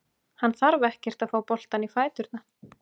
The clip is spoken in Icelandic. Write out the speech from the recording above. Hann þarf ekkert að fá boltann í fæturna.